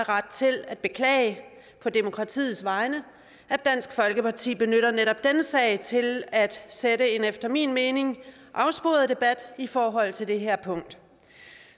ret til at beklage på demokratiets vegne at dansk folkeparti benytter netop denne sag til at sætte en efter min mening afsporet debat i forhold til det her punkt